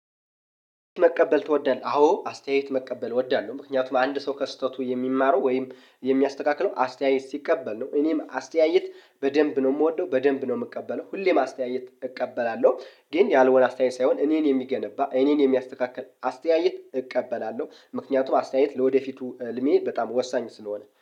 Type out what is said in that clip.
መቀበል ትወዳለህ? አዎ አስተያየት መቀበል እወዳለሁ ምክንያቱም አንድ ሰው ከስህተቱ የሚማረው ወይም የሚያስተካክለው አስተያየት ሲቀበል ነው። እኔም አስተያየት በደንብ ነው ምወደው በደንብ ነው ምቀበለው ሁሌም አስተያየት እቀበላለሁ። ግን ያልሆነ አስተያየት ሳይሆን እኔን የሚገነባ እኔን የሚያስተካክል አስተያየት እቀበላለሁ። ምክንያቱም አስተያየት ለወደፊቱ ህልሜ በጣም ወሳኝ ስለሆነ